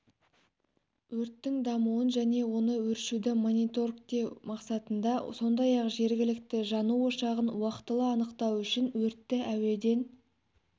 өрттің дамуын және оны өшіруді мониторгтеу мақсатында сондай-ақ жергілікті жану ошағын уақтылы анықтау үшін өртті әуеден